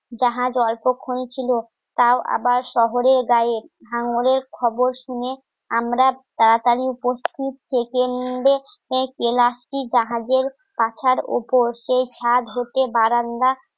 জাহাজ অল্পক্ষণ ছিল তাও আবার শহরের গায়ে হাঁঙ্গরের খবর শুনে আমরা তাড়াতাড়ি উপস্থিত থেকে মিলে এই জাহাজের কাঁথার উপর সেই ছাদ হতে বারান্দা